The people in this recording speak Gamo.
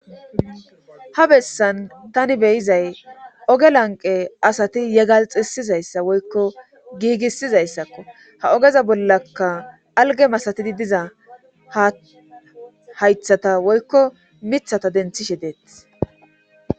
ha bessan tani be'izay ooge lanqe asati yegalxisizayssa woykko giigissizayssakko ha oogeza bollaka alge masatidi diza haythata woykko miiththata denthishe deetes